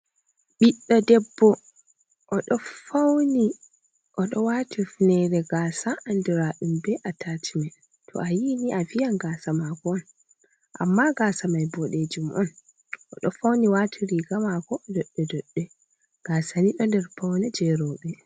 Ɓiɗɗo debbo oɗo fauni oɗo waati hifnere gasa andiraɗum be atachimen mai to a yini a viyan gasa mako on amma gasa mai boɗejum on oɗo fauni waati riga mako doɗɗe doɗɗe gasa ni ɗo nder paune je rooɓe.